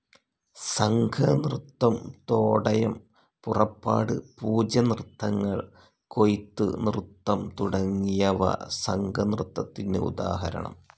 സംഘ നൃത്തം തോടയം, പുറപ്പാട്, പൂജ നൃത്തങ്ങൾ കൊയ്ത്ത് നൃത്തം തുടങ്ങിയവ സംഘനൃത്തത്തിന് ഉദാഹരണം.